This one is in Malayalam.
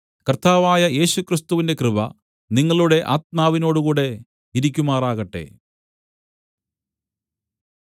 കർത്താവായ യേശുക്രിസ്തുവിന്റെ കൃപ നിങ്ങളുടെ ആത്മാവിനോടുകൂടെ ഇരിക്കുമാറാകട്ടെ